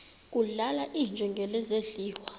kudlala iinjengele zidliwa